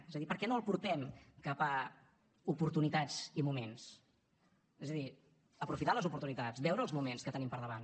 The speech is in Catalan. és a dir per què no el portem cap a oportunitats i moments és a dir aprofitar les oportunitats veure els moments que tenim per davant